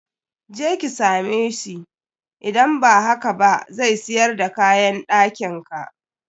Je ki same sbhi, idan ba haka ba zai siyar da kayan ɗakin ka.